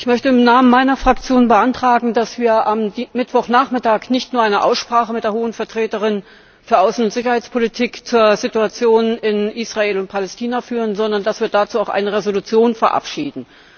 Ich möchte im Namen meiner Fraktion beantragen, dass wir am Mittwochnachmittag nicht nur eine Aussprache mit der Hohen Vertreterin für Außen und Sicherheitspolitik zur Situation in Israel und Palästina führen, sondern dass wir dazu auch eine Entschließung verabschieden.